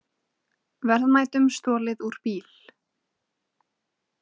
Verðmætum stolið úr bíl